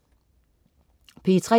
P3: